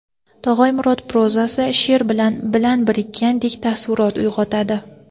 Tog‘ay Murod prozasi sheʼr bilan bilan bitilgandek taassurot o‘yg‘otadi.